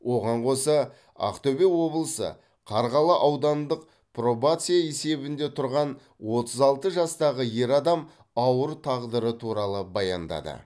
оған қоса ақтөбе облысы қарғалы аудандық пробация есебінде тұрған отыз алты жастағы ер адам ауыр тағдыры туралы баяндады